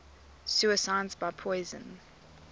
suicides by poison